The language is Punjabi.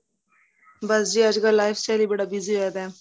ਬੱਸ ਜੀ ਅੱਜ ਕੱਲ life style ਬੜਾ busy ਹੋਇਆ ਪਇਆ